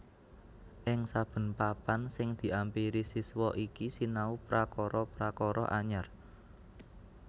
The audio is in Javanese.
Ing saben papan sing diampiri siswa iki sinau prakara prakara anyar